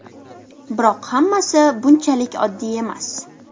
Biroq hammasi bunchalik oddiy emas.